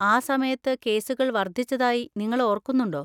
ആ സമയത്ത് കേസുകൾ വർധിച്ചതായി നിങ്ങൾ ഓർക്കുന്നുണ്ടോ?